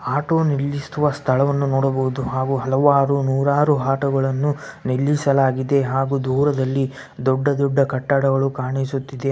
Auto ನಿಲ್ಲಿಸುವ ಸ್ಥಳವನ್ನು ನೋಡಬಹುದು ಹಾಗು ಹಲವಾರು ನೂರಾರು ಆಟೊಗಳನ್ನು ನಿಲ್ಲಿಸಲಾಗಿದೆ ಹಾಗೂ ದೂರದಲ್ಲಿ ದೊಡ್ಡ ದೊಡ್ಡ ಕಟ್ಟಡಗಳು ಕಾಣಿಸುತ್ತಿದೆ.